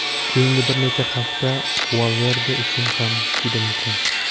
Keyingi bir necha hafta Valverde uchun ham juda muhim.